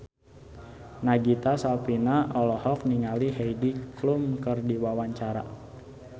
Nagita Slavina olohok ningali Heidi Klum keur diwawancara